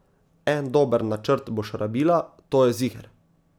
En dober načrt boš rabila, to je ziher.